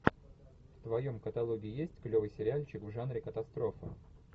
в твоем каталоге есть клевый сериальчик в жанре катастрофа